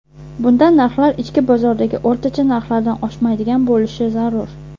Bundan narxlar ichki bozoridagi o‘rtacha narxlardan oshmaydigan bo‘lishi zarur.